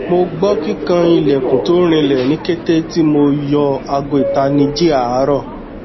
mo gbọ kikan ilẹkun to rinlẹ ni kete ti mo yọ aago itaniji aarọ